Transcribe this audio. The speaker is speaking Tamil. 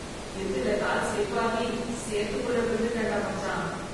இருட்டுல கால் ஸ்லிப் ஆகி சேத்துக்குள்ள விழுந்துட்டேன்டா மச்சான்.